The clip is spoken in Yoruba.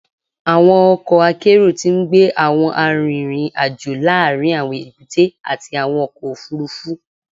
Awọn ọkọ akero ti ngbe awọn arinrin-ajo laarin awọn ebute ati awọn ọkọ ofurufu